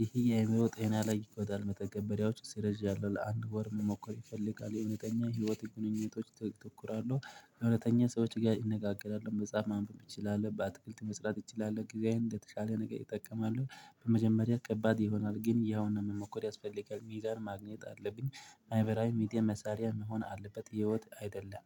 ዪሄ የአእምሮ ጤና ላይ ይጎዳል። መተገበሪያዎቹ ሰረዣለሁ ለአንድ ወር መሞከር ይፈልጋል የእውነተኛ ህይወት ግንኙነቶች ላይ ተኩራለው። እውነተኛ ሰዎች ጋር ኢነጋገራለው መጽሐፍ ማንበብ እችላለሁ በአትክልት መስራት እችላለሁ ጊዜዬን ለተሻለ ነገር ኢጠቀማለው። በመጀመሪያ ከባድ ይሆናል ግን ያው ነው መሞክር ያስፈልጋል ሚዛን ማግኘት አለብኝ። ማህበራዊ ሚዲያ መሳሪያ መሆን አለበት ህይወት አይደለም